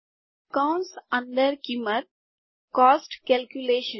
કૌંસ અંદર કિંમત કોસ્ટ કેલ્ક્યુલેશન